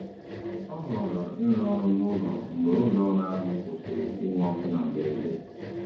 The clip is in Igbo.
Ọ họọrọ ịrụ ọrụ n'ụlọ mgbe ụlọọrụ ahụ kwụsịrị inwe ọkụ na mberede.